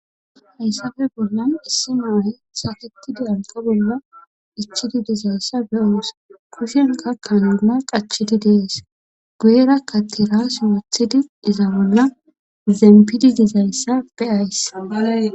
hayssafe bollan issi nuuhe safetidi anka bolla ichidi dizayssa beyoosa kushenka kanuna qachidi dees guera katira siwuthidi iza bolla zempidi dizayssa beyays